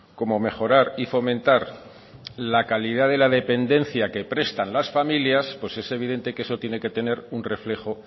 como mejorar y fomentar la calidad de la dependencia que prestan las familias es evidente que eso tiene que tener un reflejo